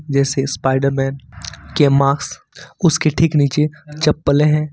जैसे स्पाइडरमैन के मास्क उसके ठीक नीचे चप्पले है।